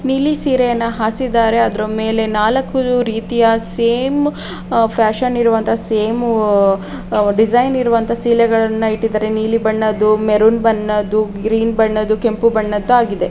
ದು ನೀಲಿ ಸೀರೆಯನ್ನ ಹಾಸಿದ್ದಾರೆ ಅದರ ಮೇಲೆ ನಾಲಕ್ಕು ರೀತಿಯ ಸೇಮ್ ಆಹ್ಹ್ ಫ್ಯಾಷನ್ ಇರುವಂತಹ ಸೇಮ್ ಆಹ್ಹ್ ಆಹ್ಹ್ ಡಿಸೈನ್ ಇರುವಂತಹ ಸೀರೆಗಳನ್ನು ಇಟ್ಟಿದ್ದಾರೆ ನೀಲಿ ಬಣ್ಣದ್ದು ಮರೂನ್ ಬಣ್ಣದ್ದು ಗ್ರೀನ್ ಬಣ್ಣದ್ದು ಕೆಂಪು ಬಣ್ಣದ್ದು ಆಗಿದೆ.